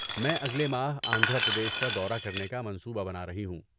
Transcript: میں اگلے ماہ آندھرا پردیش کا دورہ کرنے کا منصوبہ بنا رہی ہوں۔